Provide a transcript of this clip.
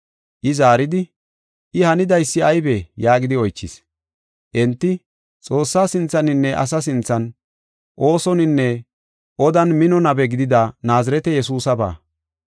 I zaaridi, “I hanidaysi aybee?” yaagidi oychis. Enti, “Xoossaa sinthaninne asa sinthan oosoninne odan mino nabe gidida Naazirete Yesuusaba.